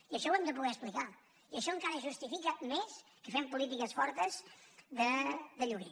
i això ho hem de poder explicar i això encara justifica més que fem polítiques fortes de lloguer